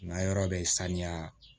N ka yɔrɔ bɛ saniya